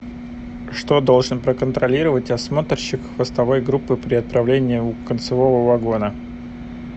что должен проконтролировать осмотрщик хвостовой группы при отправлении у концевого вагона